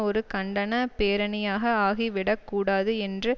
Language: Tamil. ஒரு கண்டன பேரணியாக ஆகிவிடக் கூடாது என்று